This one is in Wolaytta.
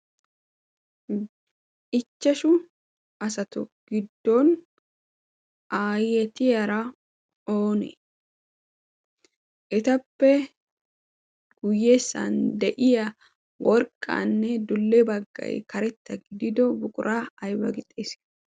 ichchashu asatu giddon aayetiyaara oni etappe guyyessan de'iya worqqaanne dulle baggay karetta gidido buquraa ayba gixxiis.